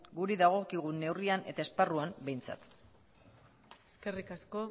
gure dagokigun neurrian eta esparruan behintzat eskerrik asko